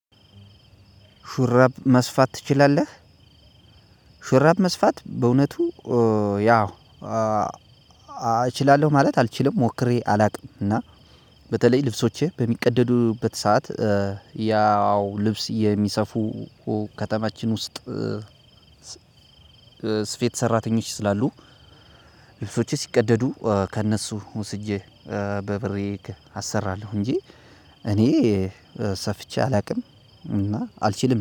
ሹራብ መስፋት ትችላለህ? ሹራብ መስፋት በእውነቱ ያው እችላለሁ ማለት አልችልም ሞክሬ አላውቅም እና በተለይ ልብሶቼ በሚቀደዱበት ሰዓት ያው ልብስ የሚሰፉ ከተማችን ውሰጥ ስፌት ሰራተኞች ስላሉ ልብሶቼ ሲቀደዱ ከእነሱ ወሰጄ በብሬ አሰራለሁ እንጂ እኔ ሰፍቼ አላውቅም እና አልችልም።